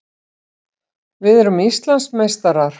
Við erum Íslandsmeistarar!